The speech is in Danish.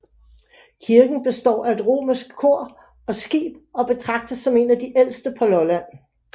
Kirken består af et romansk kor og skib og betragtes som en af de ældste på Lolland